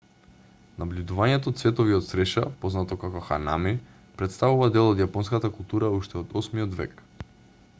набљудувањето цветови од цреша познато како ханами претставува дел од јапонската култура уште од 8 век